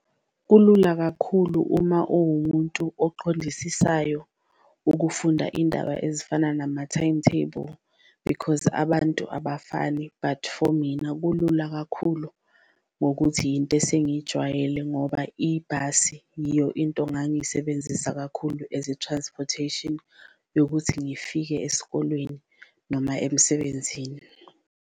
Kulula kakhulu uma uwumuntu oqondisisayo ukufunda indaba ezifana nama-timetable because abantu abafani but for mina kulula kakhulu ngokuthi yinto esingayijwayele, ngoba ibhasi yiyo into ngangiyisebenzisa kakhulu as i-transportation yokuthi ngifike esikolweni noma emsebenzini.